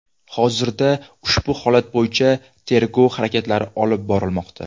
Hozirda ushbu holat bo‘yicha tergov harakatlari olib borilmoqda.